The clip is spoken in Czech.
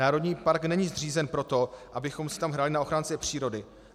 Národní park není zřízen proto, abychom si tam hráli na ochránce přírody.